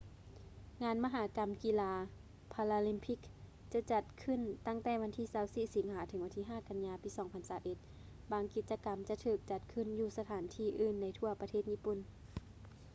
ງານມະຫະກຳກິລາ paralympics ຈະຈັດຂຶ້ນຕັ້ງແຕ່ວັນທີ 24 ສິງຫາ ເຖິງ 5 ກັນຍາ 2021 ບາງກິດຈະກໍາຈະຖືກຈັດຂື້ນຢູ່ສະຖານທີ່ອື່ນໃນທົ່ວປະເທດຍີ່ປຸ່ນ